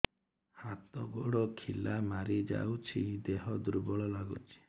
ହାତ ଗୋଡ ଖିଲା ମାରିଯାଉଛି ଦେହ ଦୁର୍ବଳ ଲାଗୁଚି